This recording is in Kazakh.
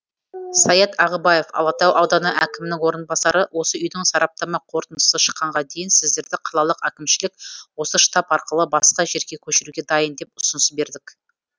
саят ағыбаев алатау ауданы әкімінің орынбасары осы үйдің сараптама қорытындысы шыққанға дейін сіздерді қалалық әкімшілік осы штаб арқылы басқа жерге көшіруге дайын деп ұсыныс бердік